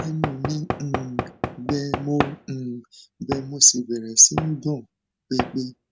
ẹnu mi um gbẹ mo um gbẹ mo sì bẹrẹ sí í gbọn pẹpẹ